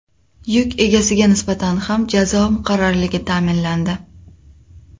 Yuk egasiga nisbatan ham jazo muqarrarligi ta’minlandi.